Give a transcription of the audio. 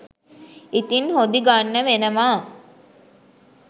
ඉතිං හොදි ගන්න වෙනවා